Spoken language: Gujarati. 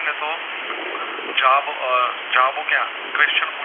તો જવાબો જવાબો ક્યાં question